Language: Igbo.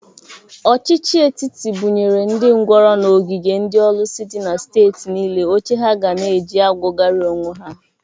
Ọchịchị etiti bụnyere ndị ngwọrọ n'ogige ndị ọlụsị dị na steeti niile oche ha ga na-eji akwọgari onwe ha.